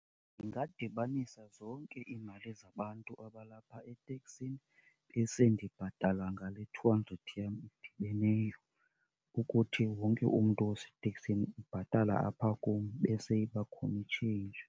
Ndingadibanisa zonke iimali zabantu abalapha eteksini besendibhatala ngale two hundred yam idibeneyo, ukuthi wonke umntu oseteksini ubhatala apha kum ibe seyiba khona i-change.